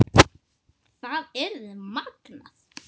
Það yrði magnað.